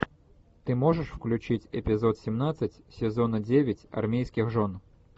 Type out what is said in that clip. ты можешь включить эпизод семнадцать сезона девять армейских жен